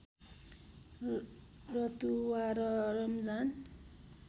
रतुवा र रमजान